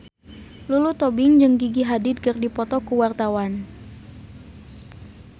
Lulu Tobing jeung Gigi Hadid keur dipoto ku wartawan